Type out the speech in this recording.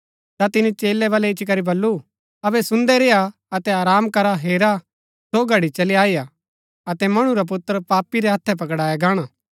ता तिनी चेलै बलै इच्ची करी बल्लू अबै सुन्दै रेय्आ अतै आराम करा हेरा सो घड़ी चली आई हा अतै मणु रा पुत्र पापी रै हत्थै पकड़ाया गाणा